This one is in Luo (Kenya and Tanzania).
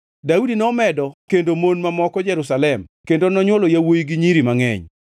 Daudi nomedo kendo mon mamoko Jerusalem kendo nonywolo yawuowi gi nyiri mangʼeny.